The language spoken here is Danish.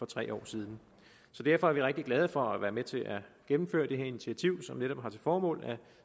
tre år siden så derfor er vi rigtig glade for at være med til at gennemføre det her initiativ som netop har til formål at